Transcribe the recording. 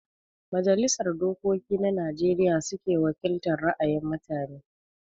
Majalisar Dokoki na Najeriya suke wakiltar ra'ayin mutane